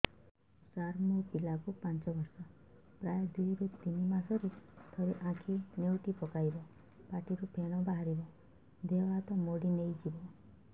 ସାର ମୋ ପିଲା କୁ ପାଞ୍ଚ ବର୍ଷ ପ୍ରାୟ ଦୁଇରୁ ତିନି ମାସ ରେ ଥରେ ଆଖି ନେଉଟି ପକାଇବ ପାଟିରୁ ଫେଣ ବାହାରିବ ଦେହ ହାତ ମୋଡି ନେଇଯିବ